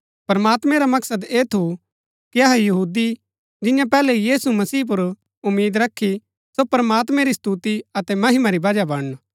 प्रमात्मैं रा मकसद ऐह थू कि अहै यहूदी जिन्यैं पैहलै यीशु मसीह पुर उम्मीद रखी सो प्रमात्मैं री स्तुति अतै महिमा री वजह बणन